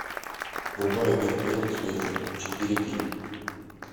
врубай обед в пятницу вечером четыре кей